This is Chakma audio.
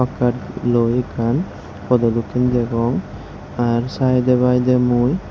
kart luo ye ekkan podo dokken degong tar sayede payede mui.